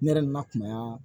Ne yɛrɛ na na kunya